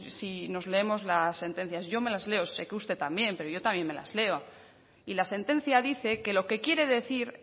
si nos leemos las sentencias yo me las leo sé que usted también pero yo también me las leo y la sentencia dice que lo que quiere decir